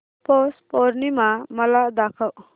पौष पौर्णिमा मला दाखव